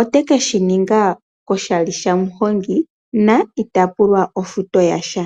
ote ke shi ninga koshali shamuhongi na ita pulwa ofuto yasha.